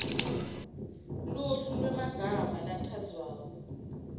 luhlu lwemagama lachazwako